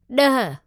ॾह